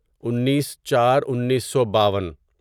انیس چار انیسو باون